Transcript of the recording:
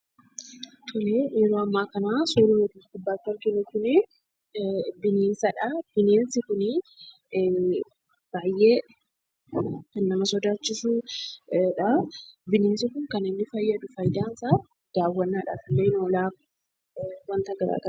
Yeroo ammaa kana suurri as gubbaarratti arginu kuni bineensadha. Bineensi kun baay'ee kan nama sodaachisudha. Bineensi kun faayidaan isaa daawwannaadhaaf oola.